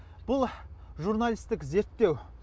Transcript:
бұл журналисттік зерттеу